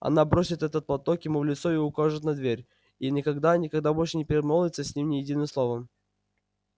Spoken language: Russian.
она бросит этот платок ему в лицо и укажет на дверь и никогда никогда больше не перемолвится с ним ни единым словом